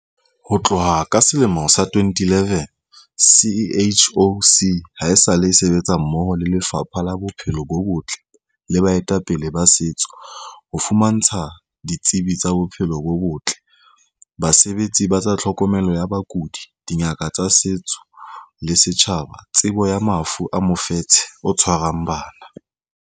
Ho tloha ka selemo sa 2011, CHOC haesale e sebetsa mmoho le Lefapha la Bophelo bo Botle le baetapele ba setso ho fumantsha ditsebi tsa bophelo bo botle, basebetsi ba tsa tlhokomelo ya bakudi, dingaka tsa setso le setjhaba tsebo ya mafu a mofetshe o tshwarang bana.